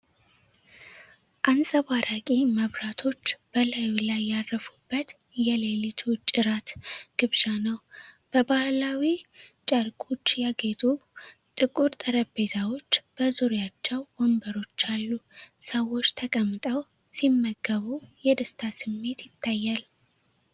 አንጸባራቂ መብራቶች በላዩ ላይ ያረፉበት የሌሊት ውጪ እራት ግብዣ ነው። በባህላዊ ጨርቆች ያጌጡ ጥቁር ጠረጴዛዎች በዙሪያቸው ወንበሮች አሉ። ሰዎች ተቀምጠው ሲመገቡ የደስታ ስሜት ይታያል።